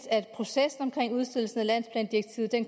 at processen omkring udstedelsen af landsplandirektivet